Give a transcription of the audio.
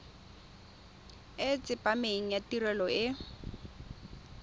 e tsepameng ya tirelo e